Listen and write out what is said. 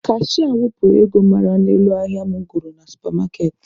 Kashịa wepụrụ m ego mara n'elu ahịa mụ goro na supa maaketị.